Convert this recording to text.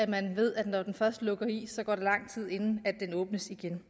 man ved at når den først lukker i så går der lang tid inden den åbnes igen